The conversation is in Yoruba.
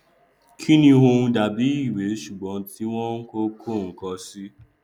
kíni ọhún dàbí ìwé ṣùgbọn tí wọn kò kọ nkankan sí